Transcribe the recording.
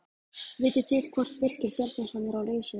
Vitið þið hvort Birkir Bjarnason er á lausu?